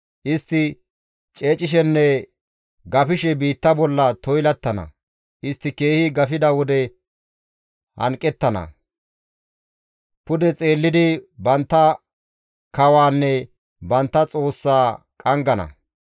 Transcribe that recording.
Istti ceecishenne gafishe biitta bolla toylattana; istti keehi gafida wode hanqettana; pude xeellidi bantta kawaanne bantta Xoossaa qanggana.